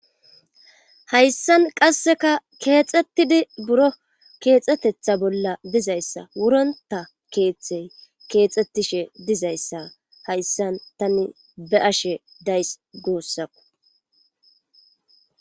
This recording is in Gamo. Hayssan qasseka keexxettidi buro keexxetetha bolla dizayssa wuronta keeththey keexxettishe dizayssa hayssan tani be ashe days goossako.